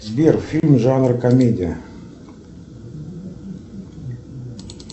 сбер фильм жанра комедия